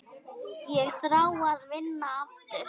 Ég þrái að vinna aftur.